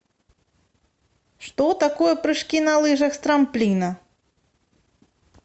что такое прыжки на лыжах с трамплина